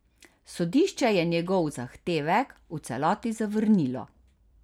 Sodišče je njegov zahtevek v celoti zavrnilo.